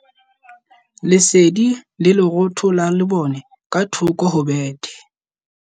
Lesedi le lerotho la lebone ka thoko ho bethe.